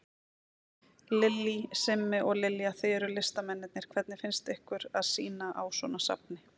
Lillý: Simmi og Lilja, þið eruð listamennirnir, hvernig finnst ykkur að sýna á svona safni?